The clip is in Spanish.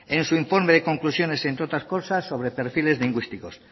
en su informe de conclusiones entre otras cosas sobre perfiles lingüísticos